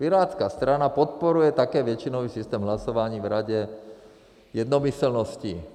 Pirátská strana podporuje také většinový systém hlasování v Radě jednomyslnosti.